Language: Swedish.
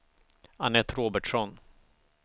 Anette Robertsson